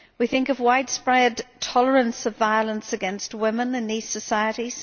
We think of widespread tolerance of violence against women in these societies.